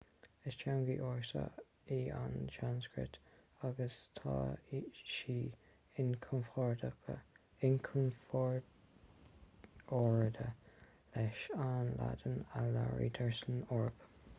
is teanga ársa í an tsanscrait agus tá sí inchomparáide leis an laidin a labhraítear san eoraip